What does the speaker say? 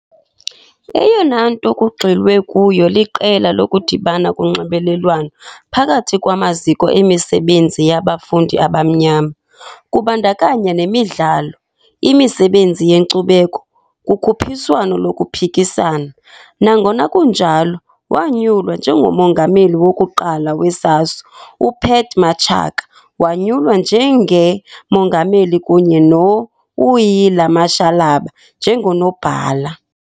Eyona nto kugxilwe kuyo liqela lokudibana konxibelelwano phakathi kwamaziko emisebenzi yabafundi abamnyama, kubandakanya nemidlalo, imisebenzi yenkcubeko, kukhuphiswano lokuphikisana. Nangona kunjalo, wanyulwa njengo-Mongameli wokuqala we-SASO, UPat Matshaka wanyulwa njenge-Mongameli kunye no-Wuila Mashalaba njengo-Nobhala.